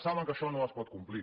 saben que això no es pot complir